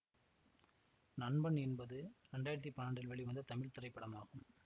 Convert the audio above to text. நண்பன் என்பது இரண்டாயிரத்தி பன்னெண்டில் வெளிவந்த தமிழ் திரைப்படம் ஆகும்